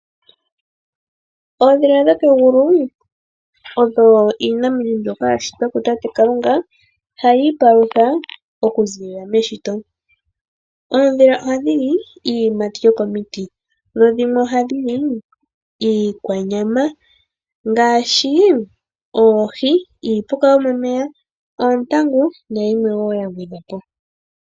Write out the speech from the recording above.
Oondhila dhokegulu oyo iinamwenyo mbyoka ya shitwa ku tate Kalunga hayi ipalutha oku ziilila meshito. Oondhila ohadhi li iiyimati yokomiti, dho dhimwe ohadhi li iikwanyama ngaashi oohi, iipuka yomomeya, oontangu nayilwe wo ya gwedhwa po.